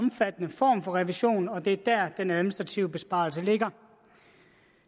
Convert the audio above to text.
omfattende form for revision og det er der den administrative besparelse ligger